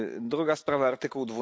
Druga sprawa artykuł